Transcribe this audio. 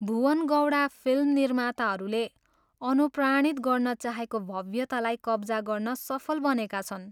Bhuwan Gowda film निर्माताहरूले अनुप्राणित गर्न चाहेको भव्यतालाई कब्जा गर्न सफल बनेका छन्।